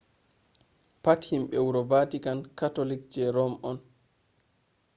pat himbe wuro vatican catholic je rome on